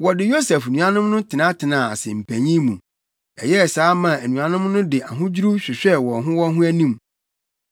Wɔde Yosef nuanom no tenatenaa ase mpanyin mu. Ɛyɛɛ saa maa anuanom no de ahodwiriw hwehwɛɛ wɔn ho wɔn ho anim.